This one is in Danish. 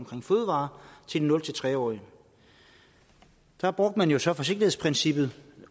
til de nul tre årige der brugte man så forsigtighedsprincippet